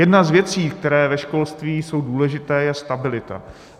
Jedna z věcí, které ve školství jsou důležité, je stabilita.